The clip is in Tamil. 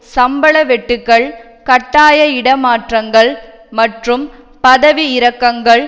சம்பளவெட்டுக்கள் கட்டாய இடமாற்றங்கள் மற்றும் பதவிஇறக்கங்கள்